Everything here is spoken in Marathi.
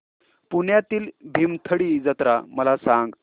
पुण्यातील भीमथडी जत्रा मला सांग